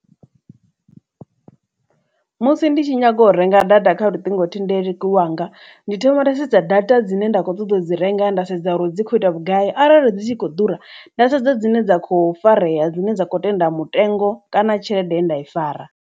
Musi ndi tshi nyaga u renga data kha luṱingothendeleki lwanga ndi thoma nda sedza data dzine nda kho ṱoḓa u dzi renga nda sedza uri dzi kho ita vhugai arali dzi tshi kho ḓura nda sedza dzine dza kho farea dzine dza kho tenda mutengo kana tshelede ye nda i fara.